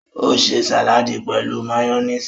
O ṣe sàládì pẹ̀lú máyónísì.